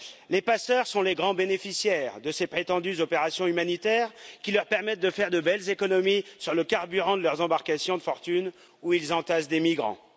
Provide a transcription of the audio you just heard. Les passeurs sont les grands bénéficiaires de ces prétendues opérations humanitaires, qui leur permettent de faire de belles économies sur le carburant de leurs embarcations de fortune, où ils entassent des migrants.